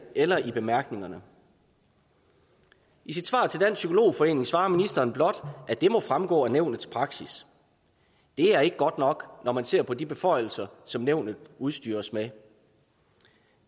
eller i bemærkningerne i sit svar til dansk psykolog forening svarer ministeren blot at det må fremgå af nævnets praksis det er ikke godt nok når man ser på de beføjelser som nævnet udstyres med